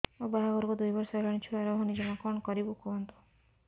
ମୋ ବାହାଘରକୁ ଦୁଇ ବର୍ଷ ହେଲାଣି ଛୁଆ ରହୁନି ଜମା କଣ କରିବୁ କୁହନ୍ତୁ